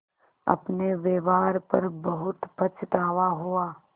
अपने व्यवहार पर बहुत पछतावा हुआ